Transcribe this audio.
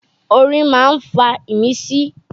Orin ma ń fa ìmísí.